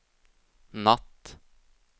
natt